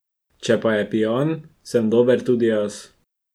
Če pa je pijan, sem dober tudi jaz.